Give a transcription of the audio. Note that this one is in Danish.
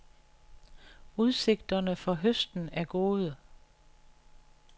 Udsigterne for høsten er gode.